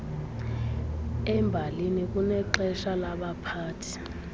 embalini kunexesha labaphathi